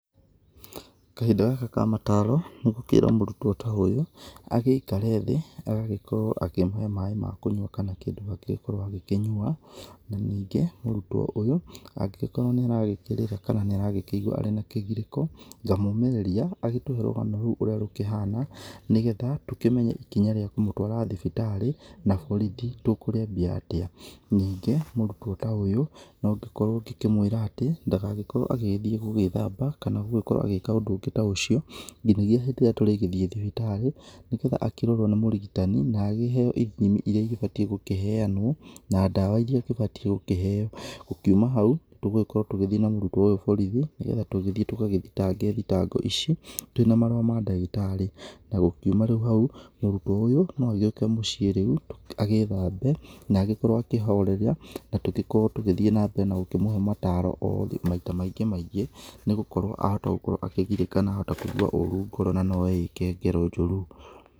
Kahinda gaka ka mataro, nĩngũkĩra mũrutwo ta ũyũ agĩikare thĩ agagĩkorwo akĩmũhe maĩ ma kũnyua kama kĩndũ angĩgĩkorwo akĩnyua. Na ningĩ mũrutwo ũyũ angĩgĩkorwo nĩ aragĩkĩrĩra kama nĩaragĩkĩigwa ena kĩgirĩko, ngamũmĩrĩria agĩtũhe rũgano rĩu ũria rũkĩhana nĩgetha tũkĩmenye ikinya rĩa kũmũtũara thibitarĩ na borithi tũkũriambiatĩa. Ningĩ mũrutwo ta ũyũ nongĩkorwo ngĩmwĩra-tĩ, ndagagĩkorwo agĩthiĩ gwĩthamba kana gũgĩkorwo agĩka ũndũ ũngĩ ta ũcio nginyagia hĩndĩ ĩrĩa tũrĩgĩthie thibitarĩ nĩgetha akĩrorwo nĩ mũrigitani na akĩheo ithimi iria igĩbatie gũkiheanwo na ndawa iria agĩbatie gũkĩkeo. Gũkiuma hau, tũgũkorwo tũgĩthiĩ na mũrutwo ũyũ borithi nĩgetha tũgĩthiĩ tũgĩthitange thitango ici twĩna marũa ma ndagĩtarĩ. Na gũkiuma rĩu hau, mũrutwo ũyũ no agĩũke mũcie rĩu agĩthambe na agĩkorwo akĩhorera na tũgĩkorwo tũgĩthiĩ na mbere na kũmũhe mataro oro maita maingĩ maingĩ nĩ gũkorwo ahota gĩkoragwo akĩgirĩka na ahota kũigwa ũru ngoro na no eĩke ngero njũru.